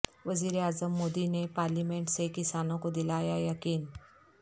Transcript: وزیر اعظم مودی نے پارلیمنٹ سے کسانوں کو دلایا یقین